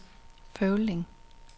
Føvling